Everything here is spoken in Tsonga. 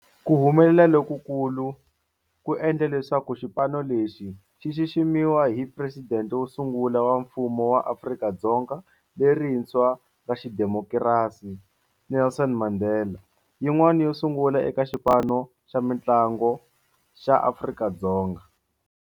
Ku humelela lokukulu endle leswaku xipano lexi xi xiximiwa hi Presidente wo sungula wa Mfumo wa Afrika-Dzonga lerintshwa ra xidemokirasi, Nelson Mandela, yin'wana yo sungula eka xipano xa mintlangu xa Afrika-Dzonga.